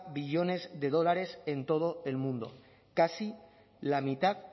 billones de dólares en todo el mundo casi la mitad